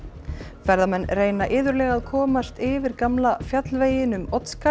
ferðamenn reyna iðulega að komast yfir gamla fjallveginn um Oddsskarð